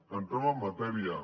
entrem en matèria